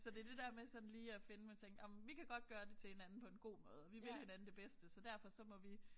Så det det der med sådan lige at finde man tænker ej men vi kan godt gøre det til hinanden på en god måde vi vil hinanden det bedste så derfor så må vi